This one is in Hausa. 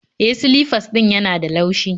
E, silifas ɗin yana da laushi